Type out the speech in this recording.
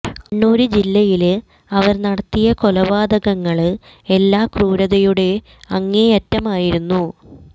കണ്ണൂര് ജില്ലയില് അവര് നടത്തിയ കൊലപാതകങ്ങള് എല്ലാം ക്രൂരതയുടെ അങ്ങേയറ്റമായിരുന്നു